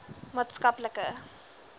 maatskaplike